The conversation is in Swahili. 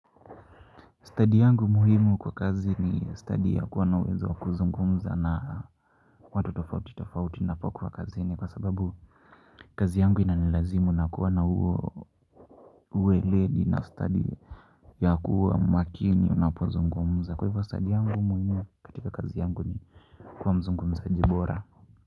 Stadi yangu muhimu kwa kazi ni stadi ya kuwa na uwezo wa kuzungumza na watu tofauti tofauti napokuwa kazini kwa sababu kazi yangu inanilazimu nakuwa na huo ueledi na stadi ya kuwa makini unapozungumza kwa hivyo stadi yangu muhimu katika kazi yangu ni kuwa mzungumzaji bora.